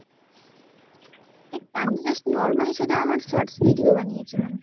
এই আমি তো just normally শুধু আমার shorts video বানিয়েছিলাম।